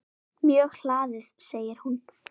Mjög hlaðið segir hún.